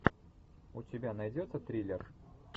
у тебя найдется триллер